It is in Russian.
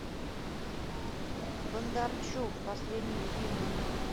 бондарчук последние фильмы